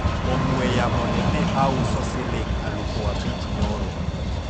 ong'we yamo ni ne auso siling' aluf abich nyoro